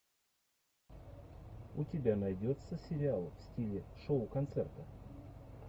у тебя найдется сериал в стиле шоу концерта